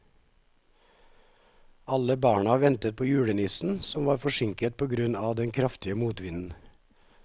Alle barna ventet på julenissen, som var forsinket på grunn av den kraftige motvinden.